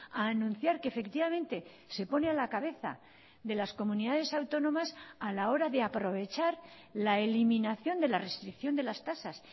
a anunciar que efectivamente se pone a la cabeza de las comunidades autónomas a la hora de aprovechar la eliminación de la restricción de las tasas